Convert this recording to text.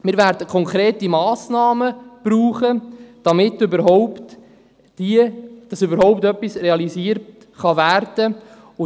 Wir werden konkrete Massnahmen brauchen, damit überhaupt etwas realisiert werden kann.